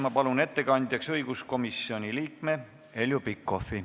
Ma palun ettekandjaks õiguskomisjoni liikme Heljo Pikhofi.